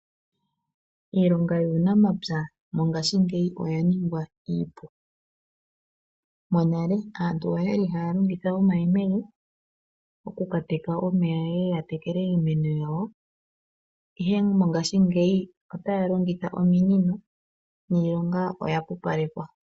Iilonga yuunamapya mongashingeyi oya ningwa iipu. Monale aantu oyali haya longitha omayemele, oku ka teka omeya yeye ya tekele iimeno yawo, ihe mongashingeyi otaya longitha ominino, niilonga oya pupalekwa.